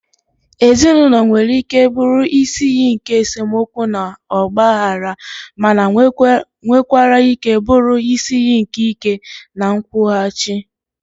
Ezinụlọ nwere ike bụrụ isi iyi nke esemokwu na ọgbaghara, mana nwekwara ike bụrụ isi iyi nke ike na nkwụghachi.